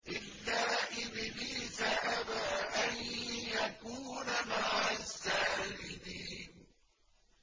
إِلَّا إِبْلِيسَ أَبَىٰ أَن يَكُونَ مَعَ السَّاجِدِينَ